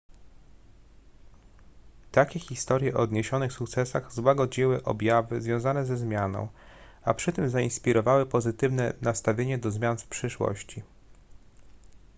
takie historie o odniesionych sukcesach złagodziły obawy związane ze zmianą a przy tym zainspirowały pozytywne nastawienie do zmian w przyszłości